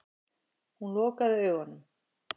Hún lokaði augunum.